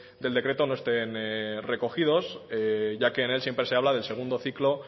del decreto no estén recogidos ya que en él siempre se habla del segundo ciclo